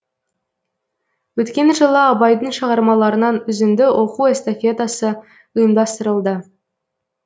өткен жылы абайдың шығармаларынан үзінді оқу эстафетасы ұйымдастырылды